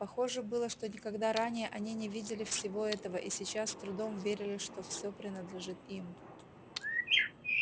похоже было что никогда ранее они не видели всего этого и сейчас с трудом верили что всё принадлежит им